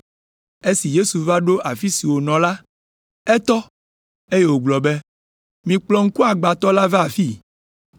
Esi Yesu va ɖo afi si wònɔ la, etɔ, eye wògblɔ be, “Mikplɔ ŋkuagbãtɔ ma va afii.”